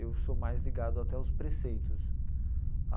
Eu sou mais ligado até aos preceitos.